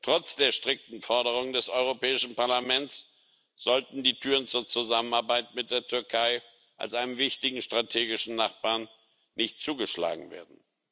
Trotz der strikten Forderungen des Europäischen Parlaments sollten die Türen zur Zusammenarbeit mit der Türkei als einem wichtigen strategischen Nachbarn nicht zugeschlagen werden.